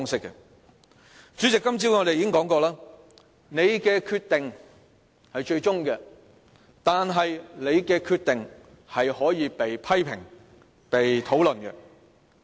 主席，我們今天早上已討論過，你的決定是最終決定，但你的決定是可以被批評、被討論。